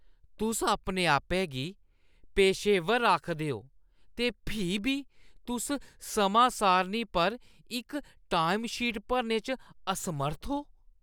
तुस अपने-आपै गी पेशेवर आखदे ओ ते फ्ही बी तुस समां-सारणी पर इक टाइमशीट भरने च असमर्थ ओ।